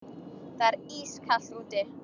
Það er ískalt úti.